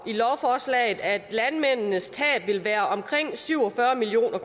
i lovforslaget at landmændenes tab vil være omkring syv og fyrre million